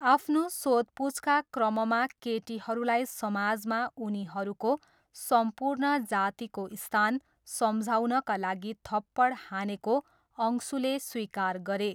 आफ्नो सोधपुछका क्रममा केटीहरूलाई समाजमा उनीहरूको सम्पूर्ण जातिको स्थान सम्झाउनका लागि थप्पड हानेको अंशुले स्वीकार गरे।